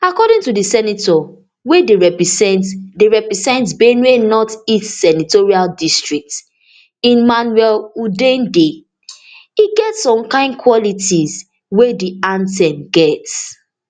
according to di senator wey dey represent dey represent benue north east senatorial district emmanuel udende e get some kain quality wey di anthem get